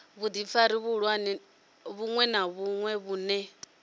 vhudifari vhuṅwe na vhuṅwe vhune